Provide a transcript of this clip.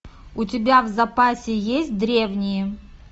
у тебя в запасе есть древние